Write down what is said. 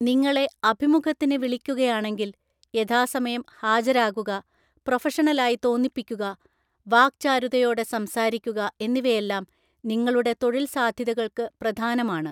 നിങ്ങളെ അഭിമുഖത്തിന് വിളിക്കുകയാണെങ്കിൽ, യഥാസമയം ഹാജരാകുക, പ്രൊഫഷണലായി തോന്നിപ്പിക്കുക, വാക്ചാരുതയോടെ സംസാരിക്കുക എന്നിവയെല്ലാം നിങ്ങളുടെ തൊഴിൽസാധ്യതകൾക്ക് പ്രധാനമാണ്.